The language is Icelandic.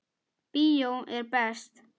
Bíó er best.